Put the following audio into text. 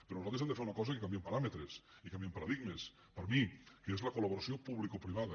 però nosaltres hem de fer una cosa que canvia paràmetres i canvia paradigmes per mi que és la col·laboració publicoprivada